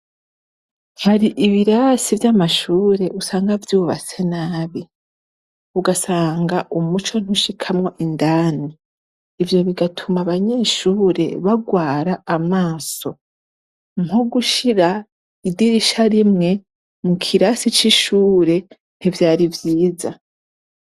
Hari ibirasi vy'amashure usanga vyubatse nabi ,ugasanga umuco ntushikamwo indani . Ivyo bigatuma abanyeshure bagwara amaso. Nko gushira idirisha rimwe mu kirasi c'ishure ,ntivyari vyiza.